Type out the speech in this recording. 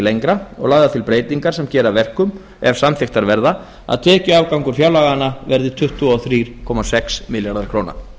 lengra og lagðar til breytingar sem gera að verkum ef samþykktar verða að tekjuafgangur fjárlaganna verði tuttugu og þrjú komma sex milljarðar króna